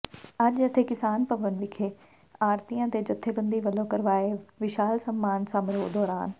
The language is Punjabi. ਅੱਜ ਇੱਥੇ ਕਿਸਾਨ ਭਵਨ ਵਿਖੇ ਆੜ੍ਹਤੀਆਂ ਦੇ ਜਥੇਬੰਦੀ ਵੱਲੋਂ ਕਰਵਾਏ ਵਿਸ਼ਾਲ ਸਨਮਾਨ ਸਮਾਰੋਹ ਦੌਰਾਨ